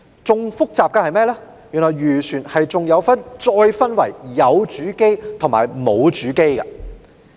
更複雜的是，原來漁船再分為有主機和沒有主機。